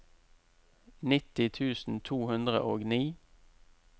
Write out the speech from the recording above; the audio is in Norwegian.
nitti tusen to hundre og ni